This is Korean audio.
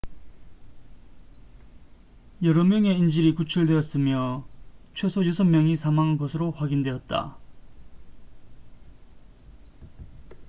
여러 명의 인질이 구출되었으며 최소 여섯 명이 사망한 것으로 확인되었다